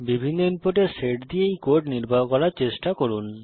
বিভিন্ন ইনপুটের সেট দিয়ে এই কোড নির্বাহ করার চেষ্টা করুন